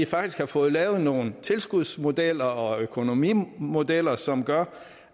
faktisk har fået lavet nogle tilskudsmodeller og økonomimodeller som gør